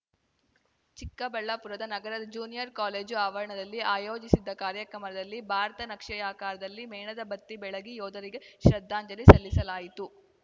ಚಿಕ್ಕಬಳ್ಳಾಪುರದ ನಗರದ junior college ಆವರಣದಲ್ಲಿ ಆಯೋಜಿಸಿದ್ದ ಕಾರ್ಯಕ್ರಮದಲ್ಲಿ ಭಾರತ ನಕ್ಷೆಯಾಕಾರದಲ್ಲಿ ಮೇಣದ ಬತ್ತಿ ಬೆಳಗಿ ಯೋಧರಿಗೆ ಶ್ರದ್ಧಾಂಜಲಿ ಸಲ್ಲಿಸಲಾಯಿತು